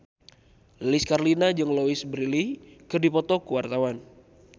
Lilis Karlina jeung Louise Brealey keur dipoto ku wartawan